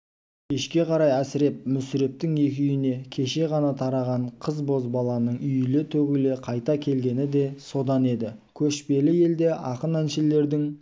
кешке қарай әсіреп мүсірептің екі үйіне кеше ғана тараған қыз-бозбаланың үйіле төгіле қайта келгені де содан еді көшпелі елде ақын-әншілердің